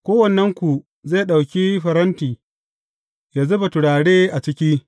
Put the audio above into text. Kowannenku zai ɗauki faranti yă zuba turare a ciki.